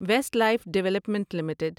waste life development limited